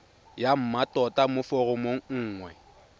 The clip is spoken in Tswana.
ya mmatota mo foromong nngwe